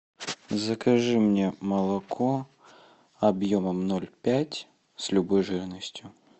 закажи мне молоко объемом ноль пять с любой жирностью